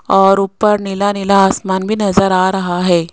और ऊपर नीला नीला आसमान भी नजर आ रहा है।